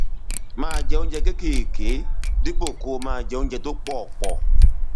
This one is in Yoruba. máa jẹ oúnjẹ kéékèèké dípò kó o máa jẹ oúnjẹ tó pọ pọ